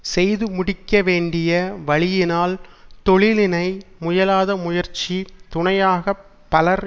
செய்து முடிக்க வேண்டிய வழியினால் தொழிலினை முயலாத முயற்சி துணையாக பலர்